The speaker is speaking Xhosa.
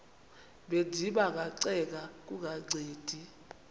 bendiba ngacenga kungancedi